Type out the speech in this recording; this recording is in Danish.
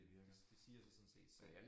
Det det siger sig sådan set selv